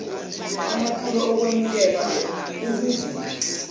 amatulo okwemukela okuvuma